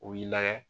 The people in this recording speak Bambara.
U b'i lagɛ